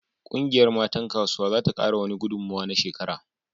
Kungiyar matan kasuwa za ta kara wani gudummuwa na shekara